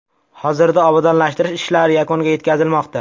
Hozirda obodonlashtirish ishlari yakuniga yetkazilmoqda.